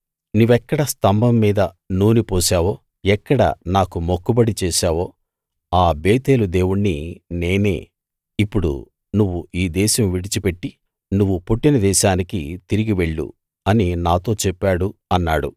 నీవెక్కడ స్తంభం మీద నూనె పోశావో ఎక్కడ నాకు మొక్కుబడి చేశావో ఆ బేతేలు దేవుణ్ణి నేనే ఇప్పుడు నువ్వు ఈ దేశం విడిచిపెట్టి నువ్వు పుట్టిన దేశానికి తిరిగి వెళ్ళు అని నాతో చెప్పాడు అన్నాడు